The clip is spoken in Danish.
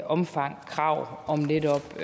omfang krav om netop